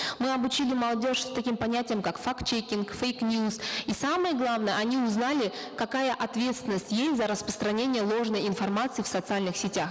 мы обучили молодежь таким понятиям как факт чекинг фейк ньюс и самое главное они узнали какая ответственность есть за распространение ложной информации в социальных сетях